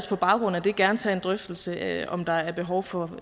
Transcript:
på baggrund af det gerne tage en drøftelse af om der er behov for